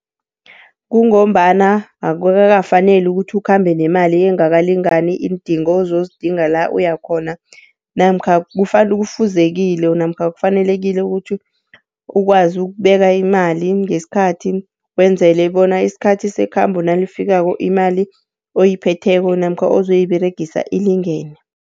Kungombana akukakafaneli ukuthi ukhambe nemali engakalingani iindingo ozozidinga la uyakhona. Namkha kufuzekile namkha kufanelekile ukuthi ukwazi ukubeka imali ngesikhathi, wenzele bona isikhathi sekhambo nalifikako imali oyiphetheko, namkha ozoyiberegisa ilingene.